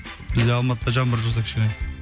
бізде алматыда жаңбыр жауса кішкене